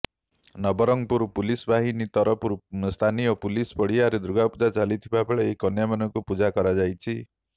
ନବରଙ୍ଗପୁର ପୁଲିସ ବାହିନୀ ତରଫରୁ ସ୍ଥାନୀୟ ପୁଲିସ ପଡ଼ିଆରେ ଦୁର୍ଗାପୂଜା ଚାଲିଥିବା ବେଳେ ଏହି କନ୍ୟାମାନଙ୍କୁ ପୂଜା କରାଯାଇଛି